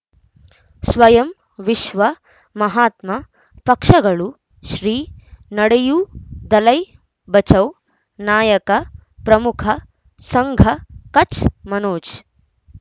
ಸ್ವಯಂ ವಿಶ್ವ ಮಹಾತ್ಮ ಪಕ್ಷಗಳು ಶ್ರೀ ನಡೆಯೂ ದಲೈ ಬಚೌ ನಾಯಕ ಪ್ರಮುಖ ಸಂಘ ಕಚ್ ಮನೋಜ್